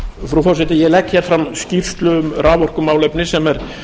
frú forseti ég legg hér fram skýrslu um raforkumálefni sem er